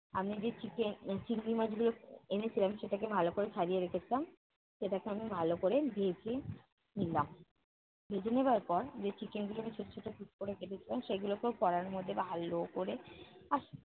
আমি যে চিকে উহ চিংড়ি মাছগুলো এনেছিলাম সেটাকে ভালো করে সাজিয়ে রেখেছিলাম, সেটাকে আমি ভালো করে ভেজে নিলাম। ভেজে নেওয়ার পর যে chicken গুলোকে ছোট ছোট piece করে কেটেছিলাম সেগুলোকেও কড়াইর মধ্যে ভালো করে